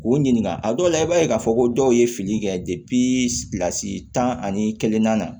K'u ɲininka a dɔw la i b'a ye k'a fɔ ko dɔw ye fili kɛ tan ani kelen na